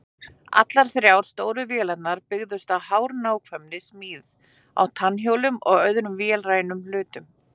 Allar þrjár stóru vélarnar byggðust á hárnákvæmri smíð á tannhjólum og öðrum vélrænum hlutum.